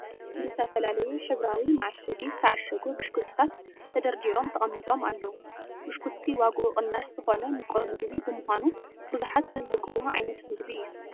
ብዝተፈላለዩ ሕብራዊ መዓሸጊ ዝተዓሸጉ ብሽኩትታት ተደርዲሮም ተቐሚጦም ኣለዉ፡፡ ብሽኩቲ ዋግኡ ቅናሽ ዝኾነ ምቁር ምግቢ ብምዃኑ ብዙሓት ዝብህግዎ ዓይነት ምግቢ እዩ፡፡